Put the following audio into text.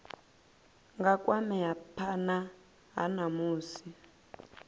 nga kwamea phana ha musi